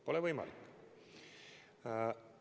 Pole võimalik!